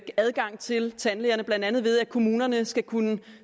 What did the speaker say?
adgang til tandlægerne blandt andet ved at kommunerne skal kunne